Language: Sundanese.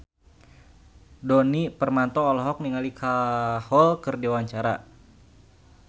Djoni Permato olohok ningali Kajol keur diwawancara